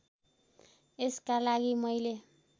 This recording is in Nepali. यसका लागि मैले